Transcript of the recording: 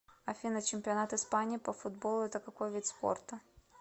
афина чемпионат испании по футболу это какой вид спорта